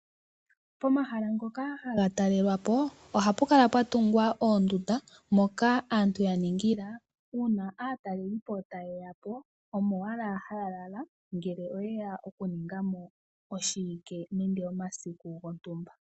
Pomahala ngoka haga talelwapo ohapu kala pwatungwa oondunda moka aantu yaningila una atalelipo taye ya po omo owala halala ngele oyeya oku ningamo oshiwike nenge omasiku gotumba,